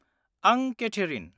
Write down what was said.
आं केथेरिन।